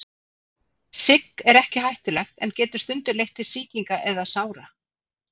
Sigg er ekki hættulegt en getur stundum leitt til sýkinga eða sára.